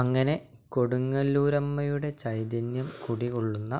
അങ്ങനെ കൊടുങ്ങല്ലൂരമ്മയുടെ ചൈതന്യം കുടികൊളളുന്ന